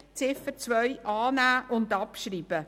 Ziffer 2 annehmen und abschreiben.